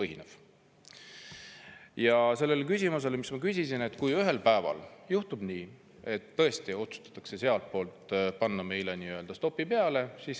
Ma küsisin selle kohta, mis siis saab, kui ühel päeval juhtub nii, et tõesti otsustatakse sealtpoolt panna meile nii-öelda stopp peale.